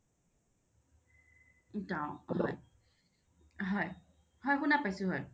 হয় শুনা পাইছোঁ হয়